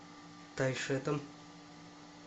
тайшетом